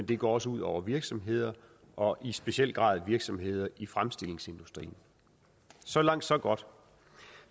det går også ud over virksomhederne og i speciel grad virksomhederne i fremstillingsindustrien så langt så godt